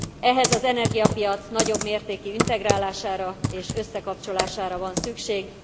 Ehhez az energiapiac nagyobb mértékű integrálására és összekapcsolására van szükség.